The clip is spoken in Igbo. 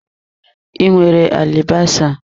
I nwere alibasa?